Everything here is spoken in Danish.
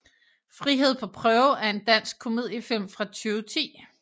Frihed på prøve er en dansk komediefilm fra 2010